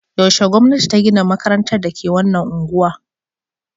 Yaushe gwamnati ta gina makarantar da ke wannan unguwa?